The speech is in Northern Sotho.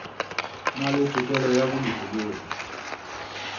na le tokelo ya bolokologi